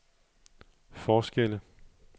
forskelle